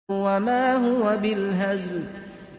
وَمَا هُوَ بِالْهَزْلِ